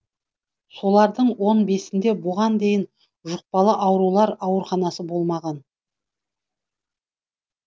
солардың он бесінде бұған дейін жұқпалы аурулар ауруханасы болмаған